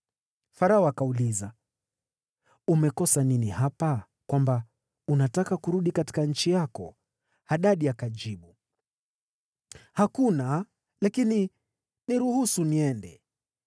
Farao akauliza, “Umekosa nini hapa, kwamba unataka kurudi katika nchi yako?” Hadadi akajibu, “Hakuna, lakini niruhusu niende!”